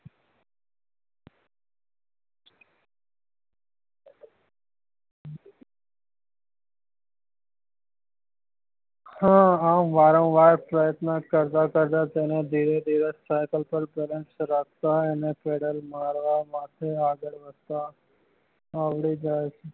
હા હા વારંવાર પ્રયત્ન કરતા કરતા તેને ધીમે ધીમે સાયકલ પર balance રાખતા તેને પેન્ડલ મારવા માટે આગળ વધતા આવડી જાય છે